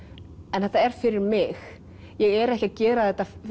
en þetta er fyrir mig ég er ekki að gera þetta